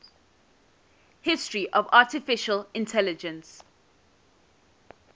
history of artificial intelligence